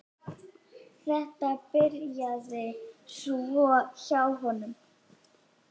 Þetta byrjaði svona hjá honum.